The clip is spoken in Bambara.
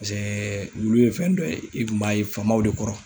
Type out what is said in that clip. pasɛɛ wulu ye fɛn dɔ ye i kun b'a ye faamaw de kɔrɔ